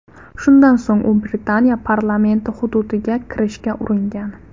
Shundan so‘ng u Britaniya parlamenti hududiga kirishga uringan.